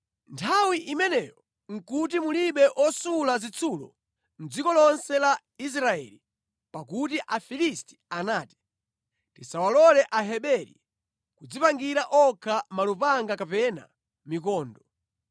Nthawi imeneyo nʼkuti mulibe osula zitsulo mʼdziko lonse la Israeli, pakuti Afilisti anati, “Tisawalole Aheberi kudzipangira okha malupanga kapena mikondo!”